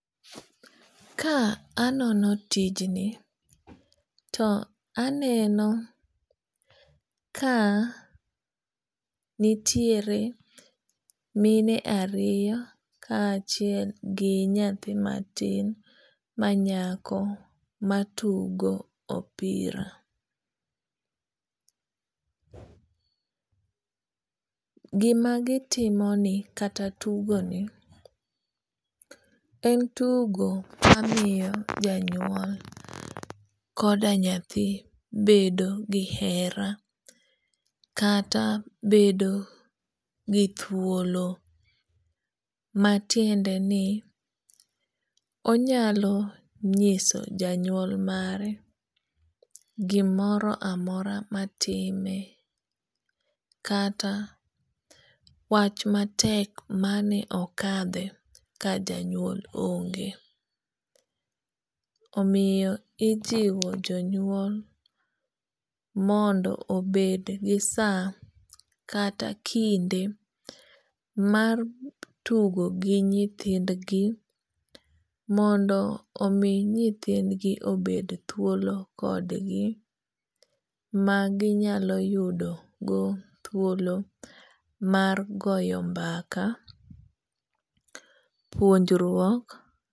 Ka anono tijni to aneno ka nitiere mine ariyo ka achiel gi nyathi matin ma nyako matugo opira. Gima gitimo ni kata tugo ni en tugo mamiyo janyuol koda nyathi bedo gi hera kata bedo gi thuolo matiende ni onyalo nyiso janyuol mare gimoro amora matime kata wach matek mane okadhe ka janyuol onge. Omiyo ijiwo jonyuol mondo obed gi sa kata kinde mar tugo gi nyithind gi mondo omi nyithind gi obed thuolo kodgi ma ginyalo yudo go thuolo mar goyo mbaka puonjruok.